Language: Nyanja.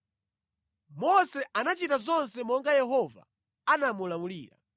Mose anachita zonse monga Yehova anamulamulira.